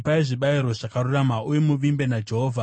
Ipai zvibayiro zvakarurama uye muvimbe naJehovha.